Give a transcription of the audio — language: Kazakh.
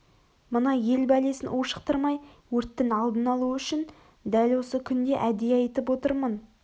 мына ел бәлесін ушықтырмай өрттің алдын алу үшін дәл осы күнде әдейі айтып отырмын